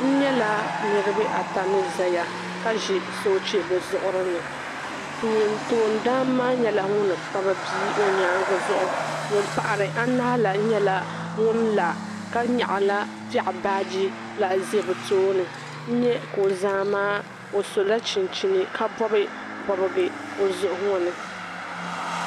N nyala niriba ata ni zaya ka ʒi sooche bɛ zuɣiri ni. Toondana maa nyɛla ŋun kpabi bia o nyaaŋga zuɣu ŋun pahiri anahi la nyɛla ŋun la ka nyaɣi piɛɣu baaji biɛɣu za bɛ tooni. N nya ka o zaa maa o sɔla chinchini ka bɔbi bɔbiga o zuɣu ŋɔ ni.